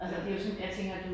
Ja det